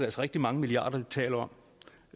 rigtig mange milliarder vi taler om